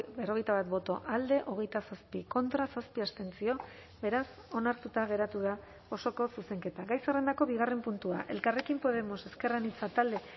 berrogeita bat boto alde hogeita zazpi contra zazpi abstentzio beraz onartuta geratu da osoko zuzenketa gai zerrendako bigarren puntua elkarrekin podemos ezker anitza talde